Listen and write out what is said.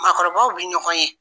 Maakɔrɔbaw be ɲɔgɔn ye.